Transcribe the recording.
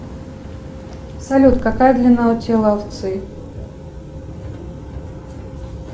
салют какая длина у тела овцы